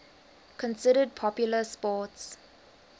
considered popular sports